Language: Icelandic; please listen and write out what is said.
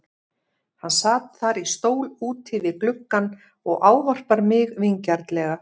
Hann sat þar í stól úti við gluggann og ávarpar mig vingjarnlega.